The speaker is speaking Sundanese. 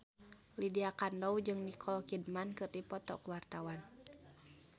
Lydia Kandou jeung Nicole Kidman keur dipoto ku wartawan